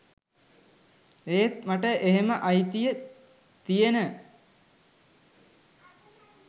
ඒත් මට එහෙම අයිතිය තියෙන